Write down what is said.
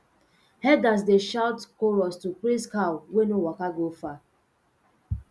herders dey shout chorus to praise cow wey no waka go far